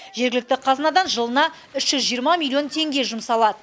жергілікті қазынадан жылына үш жүз жиырма миллион теңге жұмсалады